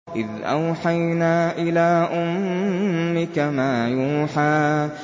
إِذْ أَوْحَيْنَا إِلَىٰ أُمِّكَ مَا يُوحَىٰ